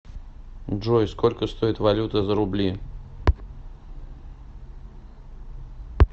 джой сколько стоит валюта за рубли